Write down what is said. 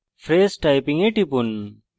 phrase typing এ টিপুন